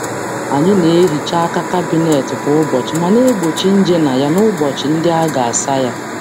Anyị na-ehicha aka kabinet kwa ụbọchị ma na-egbochi nje na ya n'ụbọchị ndị a ga- asa ya.